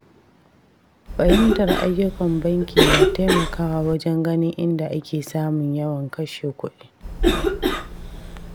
Fahimtar ayyukan banki na taimakawa wajen ganin inda ake samun yawan kashe kuɗi.